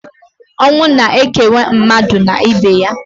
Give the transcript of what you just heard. Ọnwụ na-ekewa mmadụ na ibe ya.